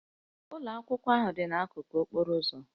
Ụlọ akwụkwọ ahụ dị n'akụkụ okporo ụzọ